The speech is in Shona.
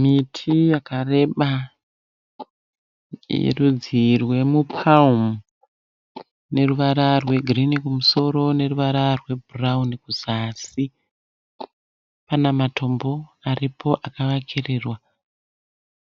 Miti yakareba yerudzi rwemuPalm neruvara rwegirini kumusoro neruvara rwebhurauni kuzasi. Pana matombo aripo akavakirirwa